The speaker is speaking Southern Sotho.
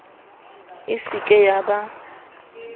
e se ke ya ba